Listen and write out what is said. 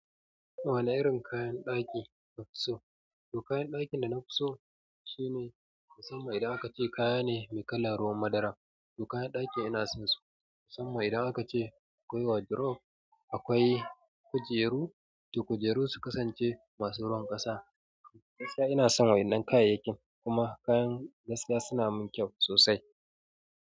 Wane irin kayan ɗaki kafi so? To kayan ɗakin da nafi so shine, musamman idan aka ce kaya ne mai kalar ruwan madara. To kayan ɗakin ina son su, musamman idan aka ce akwai wardrobe, akwai kujeru, to kujeru su kasance masu ruwan ƙasa. Gasaya ina son waɗannan kayayyakin, kuma kayan gasaya suna mun kyau sosai.